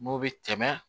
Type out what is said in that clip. N'o bɛ tɛmɛ